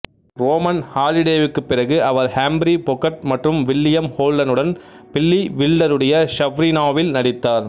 Roman ஹாலிடேவுக்கு பிறகு அவர் ஹம்பிரி பொகர்ட் மற்றும் வில்லியம் ஹோல்டனுடன் பில்லி வில்டருடைய ஸப்ரீனாவில் நடித்தார்